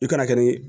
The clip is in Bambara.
I kana kɛ ni